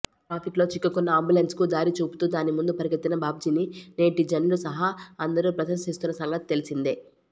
ట్రాఫిక్లో చిక్కుకున్న అంబులెన్స్కు దారి చూపుతూ దాని ముందు పరిగెత్తిన బాబ్జీని నెటిజన్లు సహా అందరూ ప్రశంసిస్తున్న సంగతి తెలిసిందే